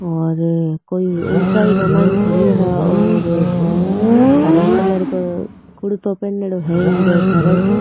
और कोई ऊंचाई के मायने खडियो है और हरे कलर को कुर्तो पेनियोडो है इन्के सर्ट ।